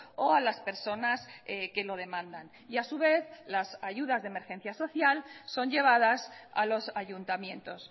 o a las personas que lo demandan y a su vez las ayudas de emergencias social son llevadas a los ayuntamientos